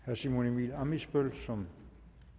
herre simon emil ammitzbøll som